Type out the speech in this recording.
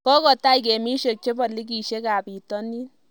Kogotai gemishek chebo ligiishek ab bitonin